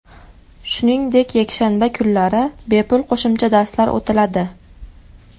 Shuningdek yakshanba kunlari bepul qo‘shimcha darslar o‘tiladi.